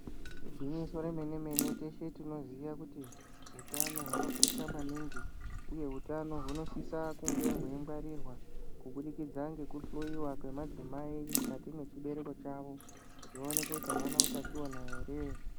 Igwinyiso remene mene teshe tinoziva kuti hutano hwakabakosha maningi uye hutano hunosisa kunge hweingwarirwa kubudikidza ngekuhloiwa kwemadzimai mukati mechibereko chavo vaonekwe avana hutachiona here.